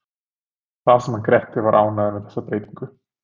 Og það sem hann Grettir var ánægður með þessa breytingu!